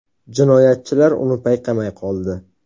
Jinoyatchilar uni payqamay qoldi.